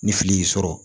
Ni fili y'i sɔrɔ